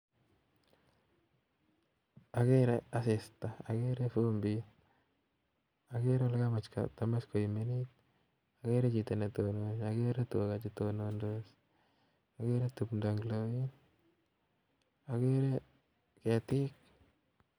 Agere asista, agere vumbiik, agere kokamach koimen, agere chito netonone, agere tuga chetonondos, agere tumdo en olon ak ketik